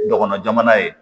Dɔgɔnɔ jamana ye